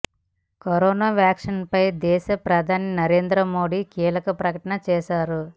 corona vaccine పై దేశ ప్రధాని నరేంద్ర మోదీ కీలక ప్రకటన చేశారు